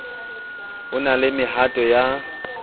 ho na le mehato ya